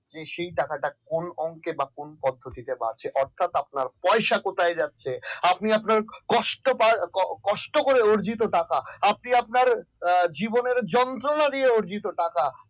সেই টাকাটা কোন অংকে কোন পদ্ধতিতে বাড়ছে অর্থাৎ আপনার পয়সা কোথায় যাচ্ছে আপনি আপনার কষ্ট কষ্ট করে অর্জিত টাকা আপনি আপনার জীবনের যন্ত্রণা দিয়ে অর্জিত টাকা